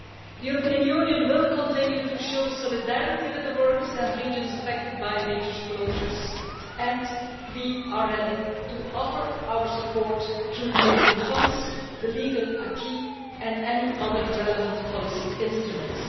The European Union will continue to show solidarity with the workers and regions affected by major closures, and we are ready to offer our support through the European funds, the legal acquis and any other relevant policy instruments.